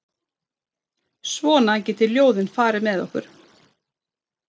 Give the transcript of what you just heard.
Svona geta ljóðin farið með okkur.